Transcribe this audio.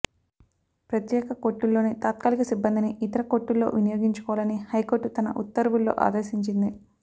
ప్రత్యేక కోర్టుల్లోని తాత్కాలిక సిబ్బందిని ఇతర కోర్టుల్లో వినియోగించుకోవాలని హైకోర్టు తన ఉత్తర్వుల్లో ఆదేశించింది